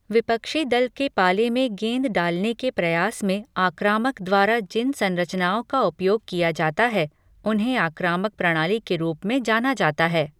विपक्षी दल के पाले में गेंद डालने के प्रयास में आक्रामक द्वारा जिन संरचनाओं का उपयोग किया जाता है, उन्हें आक्रामक प्रणाली के रूप में जाना जाता है।